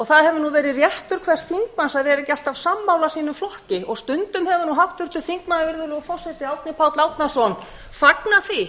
það hefur verið réttur hvers þingmanns að vera ekki alltaf sínum flokki og stundum hefur háttvirtur þingmaður árni páll árnason fagnað því